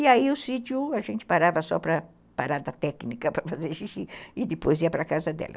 E aí o sítio, a gente parava só para parar da técnica, para fazer xixi, e depois ia para a casa dela.